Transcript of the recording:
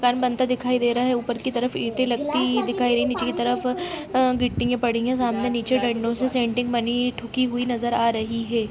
घर बनते दिखाई दे रहा है। ऊपर की तरफ ईंटे लगती दिखाई दे रही है नीचे की तरफ अ गिट्टी पड़ी है। सामने नीचे डंडो से सेंटिंग बनी ठुँकी हुई नजर आ रही है।